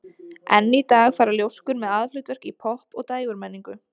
Enn í dag fara ljóskur með aðalhlutverk í popp- og dægurmenningu.